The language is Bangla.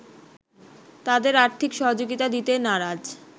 তাদের আর্থিক সহযোগিতা দিতে নারাজ